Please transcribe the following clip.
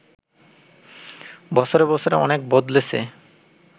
বছরে বছরে অনেক বদলেছে